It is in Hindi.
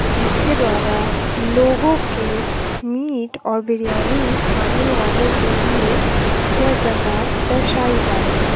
जिसके द्वारा लोगों के मीट और बिरयानी खाने वालों के लिए यह जगह दर्शाई जा रही है।